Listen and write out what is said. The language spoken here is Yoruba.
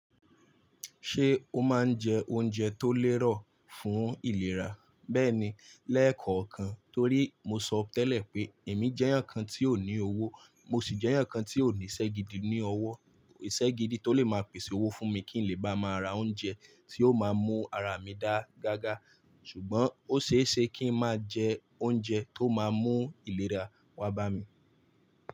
Ṣé o máa ń jẹ oúnjẹ tó lérò fún ìlera? Bẹ́ẹ̀ni, lẹ́ẹ̀kọ̀ọ̀kan torí mo sọ ọ tẹ́lẹ̀ pé èmi jẹ́ ǹkan tí ó ní owó mo sì jẹ́ ǹkan tí ó ní iṣẹ́ gidi ní owó. Ìṣẹ́ gidi tó lè máa pèsè owó fún mi kí n lè bá máa ra oúnjẹ tí ó máa mú ara mi dáa gágá. Ṣùgbọ́n ó ṣeéṣe kí n máa jẹ oúnjẹ tó máa mú ìlera wá bá mi.